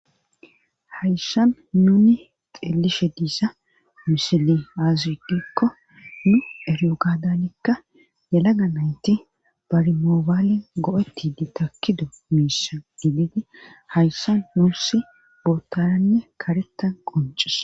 hayssan nuni xeelishe diisa misiley aze gikko nu eriyo gaadanikka yelaga nayti barimoobaali go7eti di takido miisha gididi hayssan nuusi bootaanne karetan qoncis